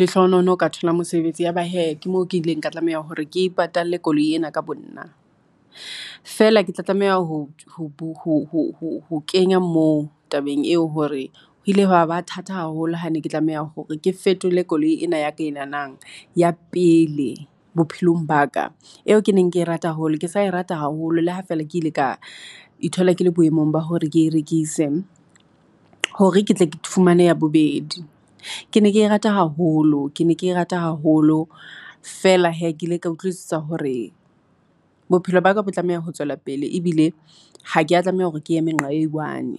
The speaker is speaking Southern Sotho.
lehlohonolo ka thola mosebetsi. Ya ba he ke moo ke ile ka tlameha hore ke ipatalle koloi ena ka bo nna. Feela ke tla tlameha ho kenya moo tabeng eo hore ho ile ha ba thata haholo. Ha ne ke tlameha hore ke fetole koloi ena ya ka e nanang. Ya pele bophelong ba ka. Eo ke neng ke rata haholo, ke sa rata haholo, le ha fela ke ile ka ithola ke le boemong ba hore ke rekise. Hore ketle ke fumane ya bobedi. Ke ne ke rata haholo, ke ne ke rata haholo feela he ke ile ka utlwisisa hore bophelo baka bo tlameha ho tswela pele, ebile ha ke a tlameha hore ke eme nqa e one.